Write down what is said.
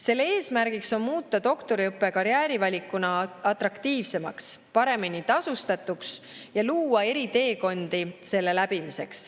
Selle eesmärgiks on muuta doktoriõpe karjäärivalikuna atraktiivsemaks, paremini tasustatuks ja luua eri teekondi selle läbimiseks.